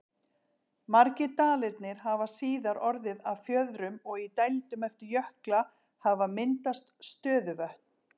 Margir dalirnir hafa síðar orðið að fjörðum og í dældum eftir jökla hafa myndast stöðuvötn.